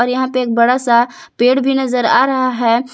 यहां पे एक बड़ा सा पेड़ भी नजर आ रहा है।